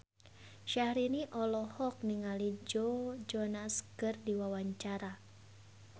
Syahrini olohok ningali Joe Jonas keur diwawancara